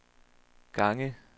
gange